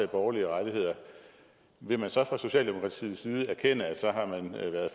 borgerlige rettigheder vil man så fra socialdemokratiets side erkende